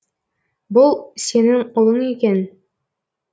бұл сенің ұлың екен